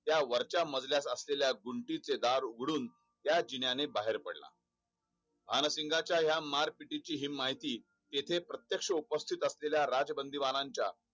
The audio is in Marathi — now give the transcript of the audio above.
त्या वरच्या मजल्या असलेल्या गुडीचे चे दार उघडून त्या जिन्याने बाहेर पडला भानसिंगच्या मारपिटची माहिती तेथे प्रत्येक्ष सैनिकी राजबंधूमानाच्या